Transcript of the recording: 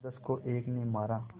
दसदस को एक ने मारा